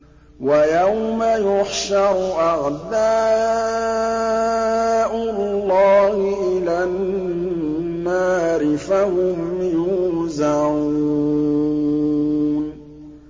وَيَوْمَ يُحْشَرُ أَعْدَاءُ اللَّهِ إِلَى النَّارِ فَهُمْ يُوزَعُونَ